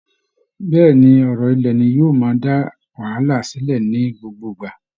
Bẹ́ẹ̀ ni, ọ̀rọ̀ ilẹ̀ ni yóò máa dá wàhálà sílẹ̀ ní gbogbo ìgbà